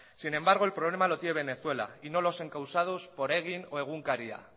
sin embargo el problema lo tiene venezuela y no los encausados por egin o egunkaria